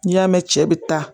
N'i y'a mɛn cɛ bi taa